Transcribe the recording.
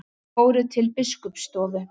Þeir fóru til biskupsstofu.